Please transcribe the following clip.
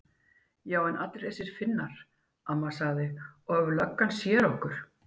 Já en allir þessir Finnar. amma sagði. og ef löggan sér okkur.